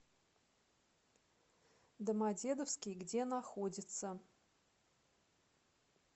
домодедовский где находится